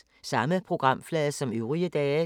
Samme programflade som øvrige dage